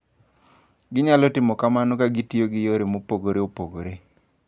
Ginyalo timo kamano ka gitiyo gi yore mopogore opogore.